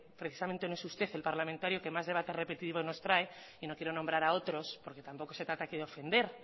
precisamente no es usted el parlamentario que más debates repetitivos nos trae y no quiero nombra a otros porque tampoco se trata aquí de ofender